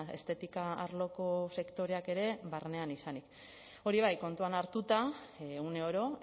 estetika arloko sektoreak ere barnean izanik hori bai kontuan hartuta uneoro